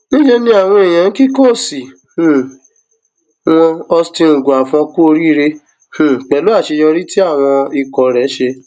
níṣẹ ni àwọn èèyàn ń kí kóòsì um wọn austin eguavoen kú oríire um pẹlú àṣeyọrí tí àwọn ikọ rẹ ṣe